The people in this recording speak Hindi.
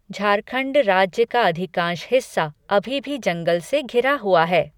झारखंड राज्य का अधिकांश हिस्सा अभी भी जंगल से घिरा हुआ है।